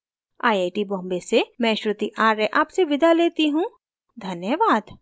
I I T Bombay से मैं श्रुति आर्य आपसे विदा लेती you धन्यवाद